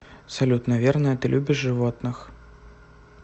салют наверное ты любишь животных